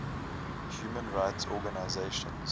human rights organisations